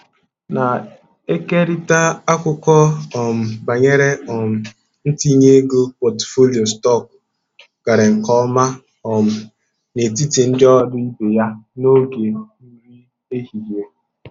Na-ekerịta akụkọ um banyere um ntinye ego pọtụfoliyo stọkụ gara nke ọma um n'etiti ndị ọrụ ibe ya n'oge nri ehihie.